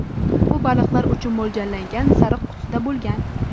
U baliqlar uchun mo‘ljallangan sariq qutida bo‘lgan.